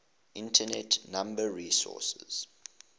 internet number resources